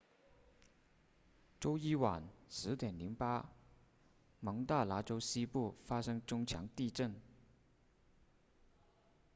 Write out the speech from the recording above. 周一晚10 08蒙大拿州西部发生中强地震